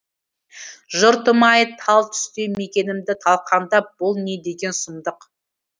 жұртым ай тал түсте мекенімді талқандап бұл не деген сұмдық